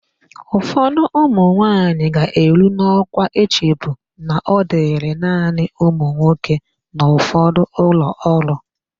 Ụfọdụ ụmụnwaanyị ga-eru n'ọkwa echebu na ọ dịrị naanị ụmụnwoke n'ụfọdụ ụlọọrụ.